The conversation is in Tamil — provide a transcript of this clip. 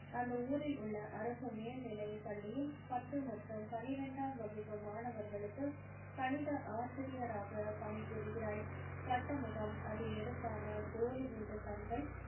அந்த ஊரில் உள்ள அரசு மேல்நிலை பள்ளியில் பத்து மற்றும் பன்னிரெண்டாம் வகுப்பு மாணவர்களுக்கு கணித ஆசிரியராக பணிபுரிகிறாள் வட்ட முகம் அதில் எடுப்பான கோலிகுண்டு கண்கள்